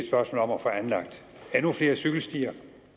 spørgsmål om at få anlagt endnu flere cykelstier